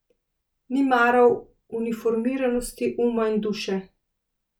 Ni maral uniformiranosti uma in duše.